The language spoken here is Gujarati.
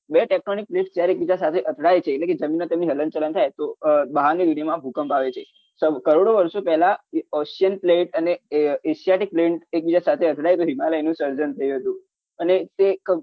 બે technolic plates જ્યારી એક બીજા સાથે અથડાય છે એટલે કે જમીન મા તેમની હલનચલન થાય તો બહાર ની એરિયા માં ભૂકંપ આવ છે કરોડો વર્ષો પેહલાં ocian plate અને asia ની plate એક બીજા અથડાય તો હિમાલયનું સર્જન થયું હતું